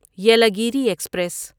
Yelagiri express